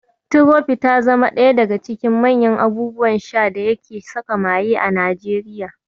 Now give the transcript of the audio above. Tirofi ta zama daga cikin manyan abubuwan sha da yake saka maye a Najeriya.